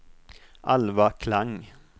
Alva Klang